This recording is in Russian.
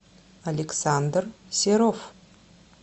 александр серов